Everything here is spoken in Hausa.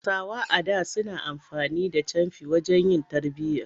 Hausawa a da suna amfani da camfi wajen yin tarbiyya.